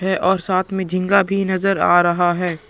है और साथ में झींगा भी नज़र आ रहा है ।